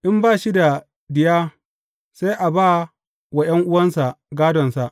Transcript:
In ba shi da diya, sai a ba wa ’yan’uwansa gādonsa.